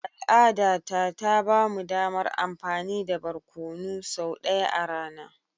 Al'adata ta ba mu damar amfani da barkonu sau ɗaya a rana.